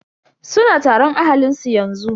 Suna taron ahalin su yanzu.